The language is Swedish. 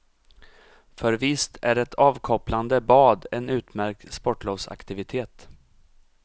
För visst är ett avkopplande bad en utmärkt sportlovsaktivitet.